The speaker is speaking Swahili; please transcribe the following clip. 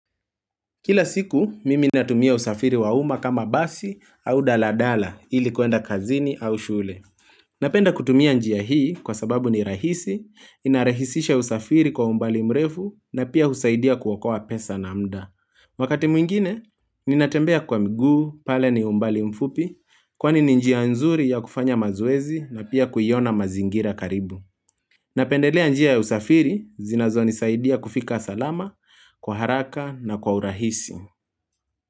Kila siku, mimi natumia usafiri wa uma kama basi au daladala ili kuenda kazini au shule. Napenda kutumia njia hii kwa sababu ni rahisi, inarahisisha usafiri kwa umbali mrefu na pia husaidia kuokoa pesa na mda. Wakati mwingine, ninatembea kwa mguu, pale ni umbali mfupi, kwani ni njia nzuri ya kufanya mazoezi na pia kuiona mazingira karibu. Napendelea njia ya usafiri, zinazonisaidia kufika salama, kwa haraka na kwa urahisi.